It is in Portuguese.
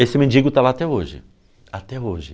Esse mendigo está lá até hoje, até hoje.